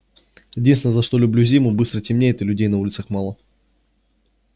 единственное за что люблю зиму быстро темнеет и людей на улицах мало